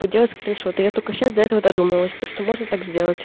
поделать скриншоты я только сейчас до этого додумалась то что можно так сделать